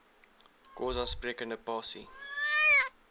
xhosa sprekende pasi